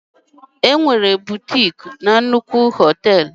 Enwere bụtịk na nnukwu họtel.